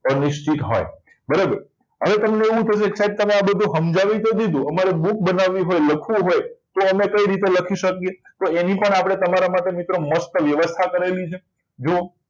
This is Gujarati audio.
અનિશ્ચિત હોય બરાબર હવે તમને એવું થશે કે સાહેબ કે બધું આ સમજાવી તો દીધું અમે અમને અમારી book બનાવી હોય લખવું હોય તો અમે કઈ રીતે લખી શકે તો એની પણ તમારા માટે મસ્ત વ્યવસ્થા કરી છે જુઓ